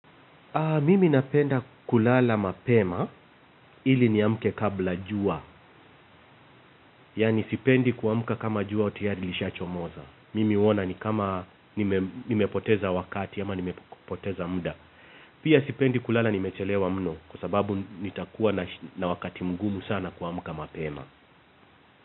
Mimi napenda kulala mapema ili niamke kabla jua. Yaani sipendi kuamka kama jua tayari lisha chomoza. Mimi huona ni kama nimepoteza wakati ama nimepoteza muda. Pia sipendi kulala nimechelewa mno kwa sababu nitakuwa na wakati mgumu sana kuamka mapema.